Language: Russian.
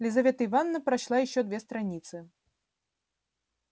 лизавета ивановна прочла ещё две страницы